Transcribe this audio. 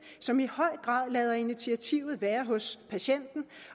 som i høj grad lader initiativet være hos patienten